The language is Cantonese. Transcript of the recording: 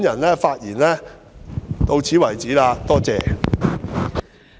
我發言到此為止，多謝。